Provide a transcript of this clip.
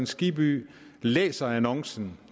skibby læser annoncen